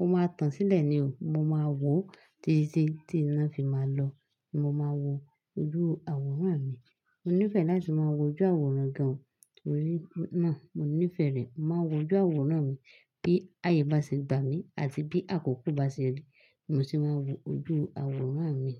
ó máa tàn sílẹ̀ ni o. Mo máa wò ó títí tí iná fi máa lọ ni mo máa wo ojú àwòrán mi. Mo nífẹ̀ẹ́ láti máa wo ojú àwòrán gan-an torí náà mo nífẹ̀ẹ́ rẹ̀. Mo máa ń wo ojú àwòrán mi bí áyè bá ṣe gba à mí àti bí àkókò bá ṣe rí ni mo ṣe máa wo ojú àwòrán mi.